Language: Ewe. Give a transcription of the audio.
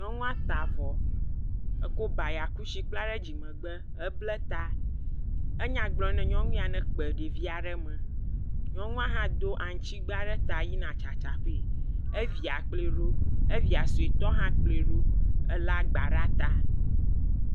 Nyɔnua ta avɔ eko baya kusi bla ɖe dzimegbe. Eble ta. Enya gblɔm ne nyɔ ya ne kpe ɖevia ɖe me. Nyɔnua hãẽ do aŋutsi gba ɖe ta yina tsatsa gee. Evia kplɔe ɖo. Evia suetɔ hã kplɔe ɖo ele gba ɖe ta.